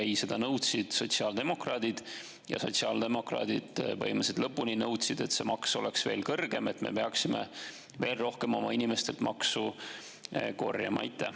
Ei, seda nõudsid sotsiaaldemokraadid ja sotsiaaldemokraadid põhimõtteliselt lõpuni nõudsid, et see maks oleks veel kõrgem, et me peaksime veel rohkem oma inimestelt maksu korjama.